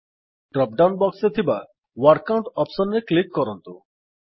dropdown box ରେ ଥିବା word count options ରେ କ୍ଲିକ୍ କରନ୍ତୁ